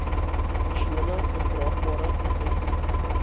seksuele oordraagbare infeksies